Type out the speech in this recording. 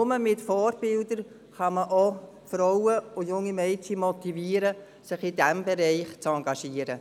Nur mit Vorbildern kann man auch Frauen und junge Mädchen motivieren, sich in diesem Bereich zu engagieren.